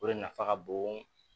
O de nafa ka bon